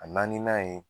A na n'a ye